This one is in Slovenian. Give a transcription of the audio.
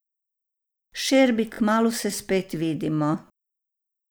Šerbi, kmalu se spet vidimo.